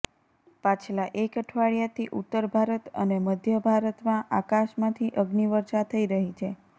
પાછલા એક અઠવાડિયાથી ઉત્તર ભારત અને મધ્ય ભારતમાં આકાશમાંથી અગ્નિવર્ષા થઇ રહી છે